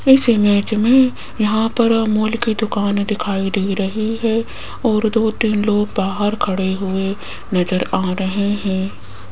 इस इमेज मे यहां पर अमूल की दुकान दिखाई दे रही है और दो तीन लोग बाहर खड़े हुए नज़र आ रहे है।